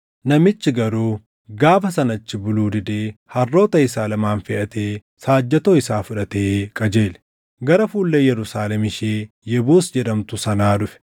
Namichi garuu gaafa sana achi buluu didee harroota isaa lamaan feʼatee saajjatoo isaa fudhatee qajeele. Gara fuullee Yerusaalem ishee Yebuus jedhamtu sanaa dhufe.